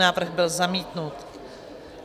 Návrh byl zamítnut.